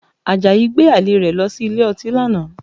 Àjàyí gbé àlè rẹ̀ lọ sí ilé ọtí lánàá